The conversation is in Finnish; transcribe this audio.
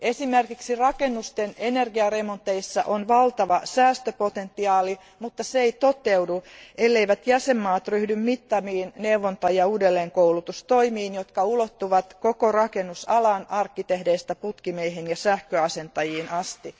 Esimerkiksi rakennusten energiaremonteissa on valtava säästöpotentiaali, mutta se ei toteudu, elleivät jäsenvaltiot ryhdy mittaviin neuvonta ja uudelleenkoulutustoimiin, jotka ulottuvat koko rakennusalaan arkkitehdeistä putkimiehiin ja sähköasentajiin asti.